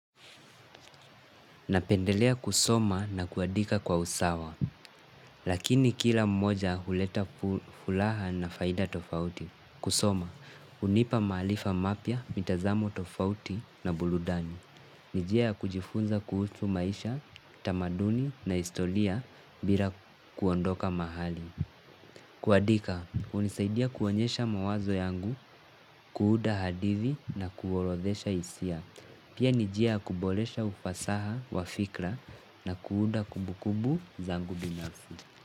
Napendelea kusoma na kuandika kwa usawa, lakini kila moja huleta furaha na faida tofauti. Kusoma, hunipa maarifa mapya, mitazamo tofauti na burudani. Ni njia ya kujifunza kuhusu maisha, tamaduni na historia bila kuondoka mahali. Kuandika, hunisaidia kuonyesha mawazo yangu, kuunda hadithi na kuorodhesha hisia. Pia ni njia ya kuboresha ufasaha wa fikra na kuunda kumbu kumbu zangu binafsi.